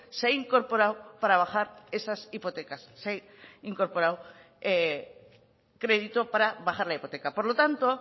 se ha incorporado para bajar esas hipotecas se ha incorporado crédito para bajar la hipoteca por lo tanto